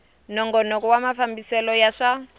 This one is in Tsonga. nongonoko wa mafambisele ya swa